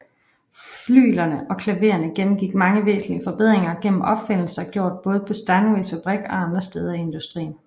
Flyglerne og klavererne gennemgik mange væsentlige forbedringer gennem opfindelser gjort både på Steinways fabrik og andre steder i industrien